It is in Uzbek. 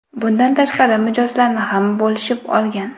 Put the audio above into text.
Bundan tashqari, mijozlarni ham bo‘lishib olgan.